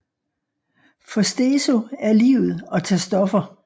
For Steso er livet at tage stoffer